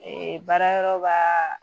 baara yɔrɔ b'a